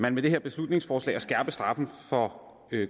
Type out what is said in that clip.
man med det her beslutningsforslag at skærpe straffen for